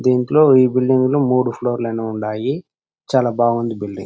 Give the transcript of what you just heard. దీంట్లో ఈ బిల్డింగ్ లో మూడు ఫ్లోర్ లైన ఉన్నాయి. చాలా బాగుంది బిల్డింగ్ .